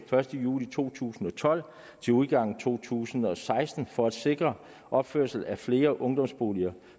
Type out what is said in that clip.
første juli to tusind og tolv til udgangen af to tusind og seksten for at sikre opførelse af flere ungdomsboliger